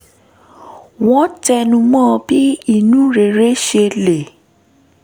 wọ́n tẹnu mọ́ bí inú rere ṣe lè